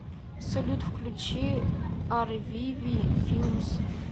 салют включи арвиви филмс